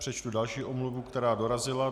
Přečtu další omluvu, která dorazila.